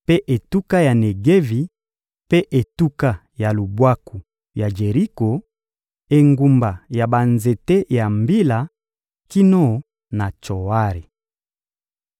mpe etuka ya Negevi mpe etuka ya lubwaku ya Jeriko, engumba ya banzete ya mbila kino na Tsoari.